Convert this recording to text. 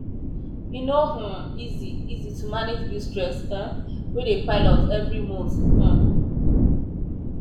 e no um easy easy to manage bill stress um wey dey pile up every month um